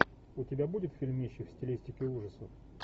у тебя будет фильмище в стилистике ужасов